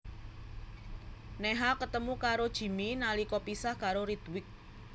Neha ketemu karo karo Jimmy nalika pisah karo Ritwik